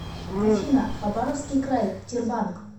афина хабаровский край тербанк